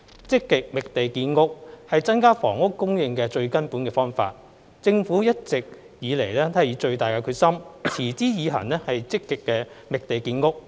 積極覓地建屋是增加房屋供應的最根本方法。政府一直以來都以最大的決心，持之以恆積極覓地建屋。